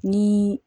Ni